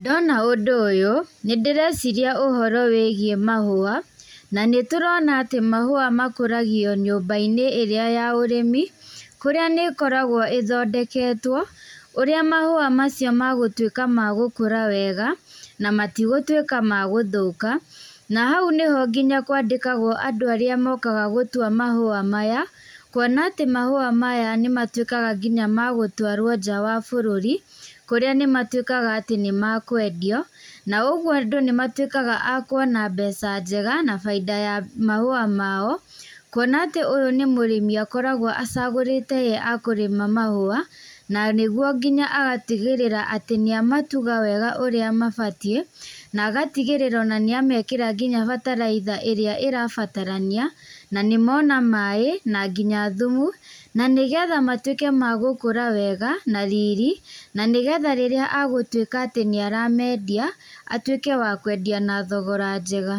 Ndona ũndũ ũyũ nĩ ndĩreciria ũhoro wĩgiĩ mahũa. Na nĩt ũrona atĩ mahũa makũragio nyumba-inĩ ĩrĩa ya ũrĩmi. Kurĩa nĩ ĩkoragwo ĩthondeketwo ũrĩa mahũa macio magũtuĩka ma gũkũra wega. Na matigũtuika ma gũthũka. Na hau nĩho nginya kwandĩkagwo andũ arĩa mokaga gũtua mahũa maya. Kuona atĩ mahũa maya nĩmatuĩkaga nginya ma gũtũarwo nja wa bũrũri. Kũrĩa nĩ matuĩkaga atĩ nĩ makwendio na uguo andũ nĩmatuĩkaga a kuona mbeca njega na faida ya mahũa mao. Kuona atĩ ũyũ nĩ mũrĩmi akoragwo acagũrĩte ye akũrĩma mahũa na nĩguo nginya agatigĩrĩra atĩ nĩ amatuga wega ũrĩa mabatiĩ, na agatigĩrĩra nginya nĩ amekĩra nginya bataraitha ĩria ĩrabatarania, na ni mona maĩ na nginya thumu. Na nĩgetha matuĩke ma gũkũra wega na riri. Na nĩ getha rĩrĩa agũtuĩka atĩ nĩaramendia atuĩke wa kwendia na thogora njega.